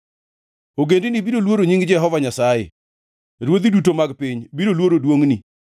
Ogendini biro luoro nying Jehova Nyasaye, ruodhi duto mag piny biro luoro duongʼni.